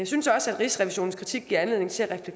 synes også at rigsrevisionens kritik giver anledning til at